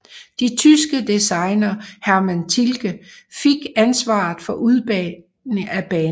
De tyske designer Hermann Tilke fik ansvaret for udformningen af banen